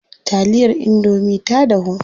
Taliyar indomie ta dahu.